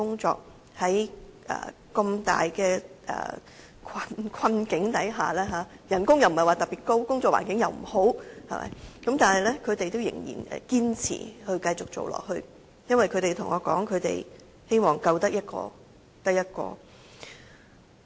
縱使面對困難，薪金既不是特別高，工作環境也不是太好，但她們卻仍然堅持繼續做，她們告訴我，就是由於希望可以"救得一個得一個"。